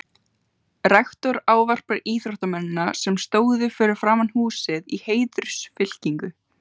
Rektor ávarpar íþróttamennina, sem stóðu fyrir framan húsið í heiðursfylkingu.